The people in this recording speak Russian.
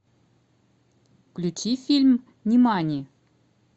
включи фильм нимани